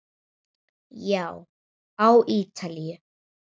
Já, á Ítalíu.